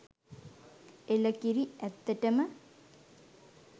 එළකිරි! ඇත්තටම